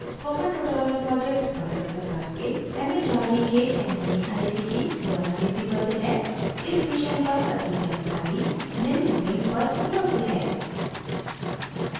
spoken tutorial project Bharat सरकार के mhrd के nmeict द्वारा निधिबद्ध है इस mission पर अधिक जानकारी निम्न link पर उपलब्ध है